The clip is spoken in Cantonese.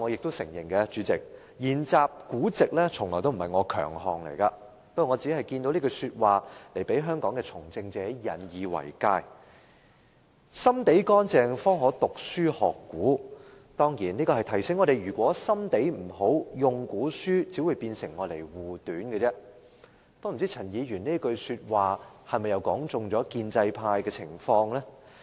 代理主席，我承認研習古籍從不是我的強項，不過我看到這一句話，希望讓香港的從政者引以為戒："心地乾淨方可讀書學古"，當然是要提醒我們，心地不好，引用古書只會變成護短，不知道這句話又是否道中了建制派的情況？